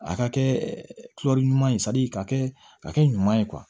A ka kɛ ɲuman ye k'a kɛ ka kɛ ɲuman ye